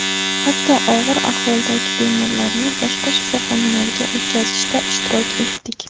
Hatto og‘ir ahvoldagi bemorlarni boshqa shifoxonalarga o‘tkazishda ishtirok etdik.